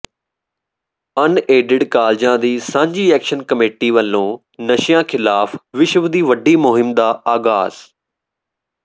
unaided ਕਾਲਜਾਂ ਦੀ ਸਾਂਝੀ ਐਕਸ਼ਨ ਕਮੇਟੀ ਵੱਲੋਂ ਨਸ਼ਿਆਂ ਖਿਲਾਫ ਵਿਸ਼ਵ ਦੀ ਵੱਡੀ ਮੁਹਿੰਮ ਦਾ ਆਗਾਜ਼